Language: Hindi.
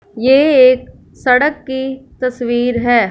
ये एक सड़क की तस्वीर है।